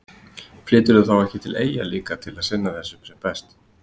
Flyturðu þá ekki til eyja líka til að sinna þessu sem best?